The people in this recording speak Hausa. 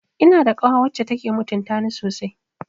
Ina da kawa wacce take mutuntani sosai